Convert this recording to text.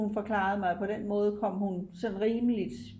hun forklarede mig at på den måde kom hun sådan rimeligt